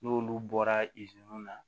N'olu bɔra na